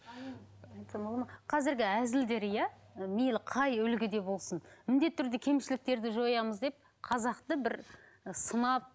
айтсам болады ма қазіргі әзілдер иә мейлі қай үлгіде болсын міндетті түрде кемшіліктерді жоямыз деп қазақты бір і сынап